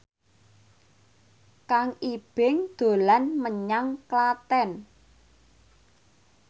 Kang Ibing dolan menyang Klaten